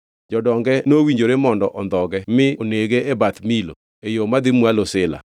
Jodonge nowinjore mondo ondhoge mi onege e Beth Milo, e yo madhi mwalo Sila.